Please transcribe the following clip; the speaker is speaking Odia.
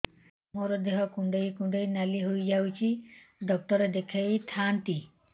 ମୋର ଦେହ କୁଣ୍ଡେଇ କୁଣ୍ଡେଇ ନାଲି ହୋଇଯାଉଛି ଡକ୍ଟର ଦେଖାଇ ଥାଆନ୍ତି